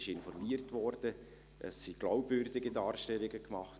Es wurde informiert, es wurden glaubwürdige Darstellungen gemacht.